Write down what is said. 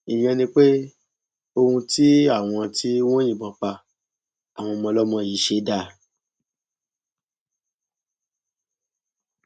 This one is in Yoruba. ìyẹn ni pé ohun tí àwọn tí wọn yìnbọn pa àwọn ọmọ ọlọmọ yìí ṣe dáa